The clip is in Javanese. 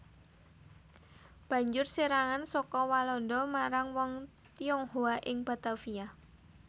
Banjur serangan saka Walanda marang wong Tionghoa ing Batavia